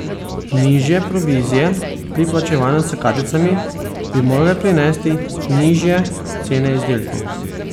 Nižje provizije pri plačevanju s karticami bi morale prinesti nižje cene izdelkov.